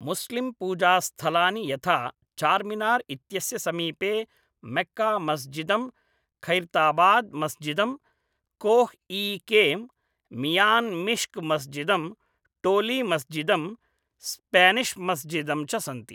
मुस्लिम्पूजास्थलानि यथा चार्मिनार् इत्यस्य समीपे मक्कामस्जिदम्, खैर्ताबाद् मस्जिदम्, कोह् ई केम्, मियान् मिश्क् मस्जिदम्, टोली मस्जिदम्, स्पेनिश् मस्जिदम् च सन्ति।